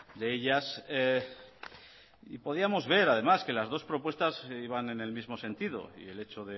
de ellas podíamos ver además que las dos propuestas iban en el mismo sentido y el hecho